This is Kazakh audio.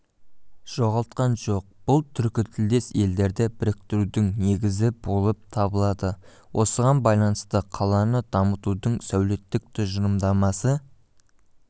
жоғалтқан жоқ бұл түркітілдес елдерді біріктірудің негізі болып табылады осыған байланысты қаланы дамытудың сәулеттік тұжырымдамасы